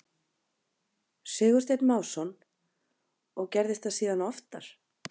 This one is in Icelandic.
Sigursteinn Másson: Og gerðist það síðan oftar?